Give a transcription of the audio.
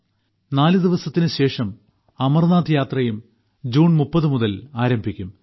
ഇപ്പോൾ തന്നെ നാലു ദിവസത്തിന് ശേഷം അമർനാഥ് യാത്രയും ജൂൺ 30 മുതൽ ആരംഭിക്കും